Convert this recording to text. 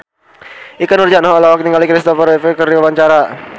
Ikke Nurjanah olohok ningali Christopher Reeve keur diwawancara